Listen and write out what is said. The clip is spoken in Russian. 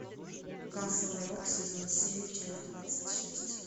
касл рок сезон семь часть двадцать шесть